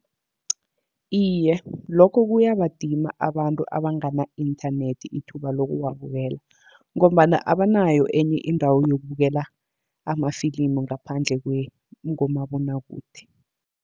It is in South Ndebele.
Iye, lokho kuyabadima abantu abangana inthanethi ithuba lokuwabukela, ngombana abanayo enye indawo yokubukela amafilimu ngaphandle komabonwakude.